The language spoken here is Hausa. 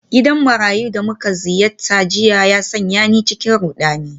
Gidan marayun da muka ziyarta jiya ya sanya ni cikin rudani.